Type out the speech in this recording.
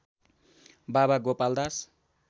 बाबा गोपाल दास